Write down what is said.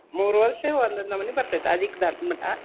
ಮೂರ್ ವರ್ಷ ಒಂದೊಂದ್ ನಮ್ನಿ ಬರ್ತದ್ ಆದೀಕ ದಾಟೋ ಮಟಾ.